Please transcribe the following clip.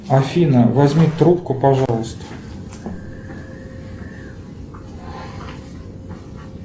афина возьми трубку пожалуйста